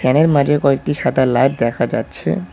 এর মাঝে কয়েকটি সাদা লাইট দেখা যাচ্ছে।